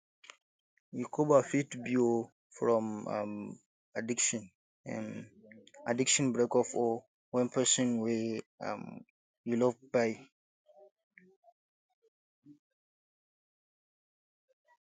recover fit be um from um addiction um addiction breakup or when person wey um you love kpai